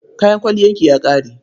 Kayan kwalliyarki ya ƙare?